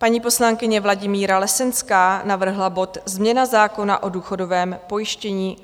Paní poslankyně Vladimíra Lesenská navrhla bod Změna zákona o důchodovém pojištění.